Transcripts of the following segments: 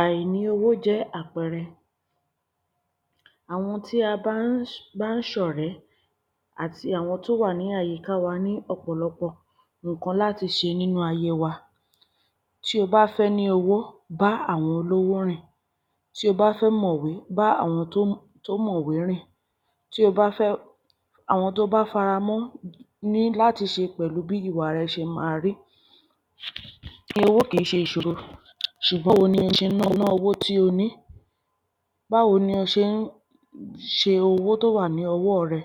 Àìní owó jẹ́ àpẹẹrẹ awọn tí a n bá n bá ṣọ̀rẹ́ àti awọn tó wà ni àyíká wa ní ọ̀pọ̀lọpọ̀ nkán láti ṣe nínú ayé wa. Tí o bá fẹ́ ni ówó bá awọn olówó rin. Tí o bá fẹ́ mọ̀wé bá awọn tó mọwé rin. Tí o bá fẹ́, awọn to fara mọ́ ní láti ṣe pẹ̀lu Owo kin ṣe ìṣoro ṣùgbọ́n bo ṣe ná owó tí o ní. Bá wo ni o ṣe n owó to wà ní ọwọ́ rẹ?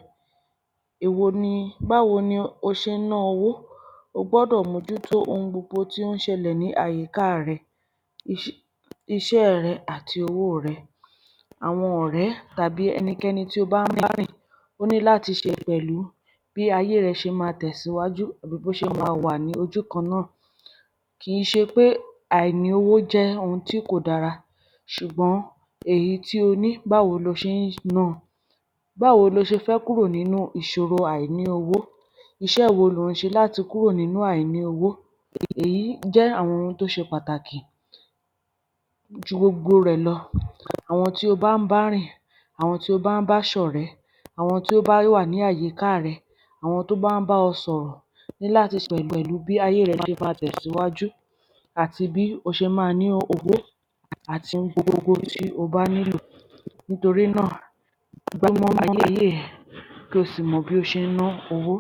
Èwo ní, bá wo ni o ṣe n ná owó? O gbódọ̀ mo jú to oun gbogbo tí o n ṣẹ lẹ̀ ní àyíká rẹ, iṣẹ́ rẹ ati owó rẹ̀, awọn ọ̀rẹ́ tabi ẹnikẹ́ni tí o bá n bá rin o ní láti ṣe pẹ̀lú Bi ayé rẹ ṣe ma tẹ̀síwájú, bó ṣe ma wà ni ojú kan ná. Kìí ṣé pé àìní owó jẹ́ oun tí kò dára ṣùgbọ́n, èyí tí o ní bá wo ni o ṣe n náa? Bá wo ní o ṣé fẹ́ kúrò ninu ìṣòro àìní owó? Iṣẹ́ wo lo n ṣe láti kúrò ninu àìní owó? Èyí jẹ́ awọn òrò tó ṣe pàtàkì Jú gbogbo rẹ̀ ló, awọn tí o bá n bá rin, awọn tí o bá n bá ṣọ̀rẹ́, awọn tí o bá wa ni àyíká rẹ, awọn tó bá n bá ọ́ sọ̀rọ̀ ní lati ṣe pẹ̀lú bí ayé rẹ ṣe ma tẹ̀síwájú, ati bí o ṣe ma ní owó ati oun gbogbo tí o ba ní lò. Nitorí náa, gba mu ayé ẹ kí o sì mọ̀ bí o ṣe ná ná owó.